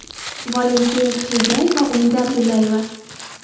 Valentin Xegay va Umida Abdullayeva.